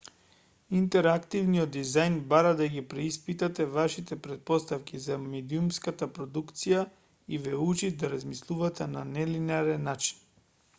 интерактивниот дизајн бара да ги преиспитате вашите претпоставки за медиумската продукција и ве учи да размислувате на нелинеарен начин